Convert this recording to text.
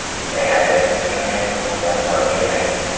Bunday ajoyib imkoniyatni qo‘ldan boy bermang!